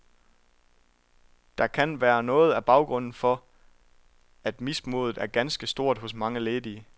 Det kan være noget af baggrunden for, at mismodet er ganske stort hos mange ledige.